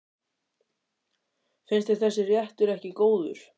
Finnst þér þessi réttur ekki góður?